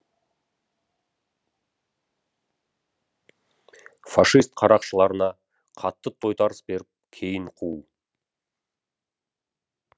фашист қарақшыларына қатты тойтарыс беріп кейін қуу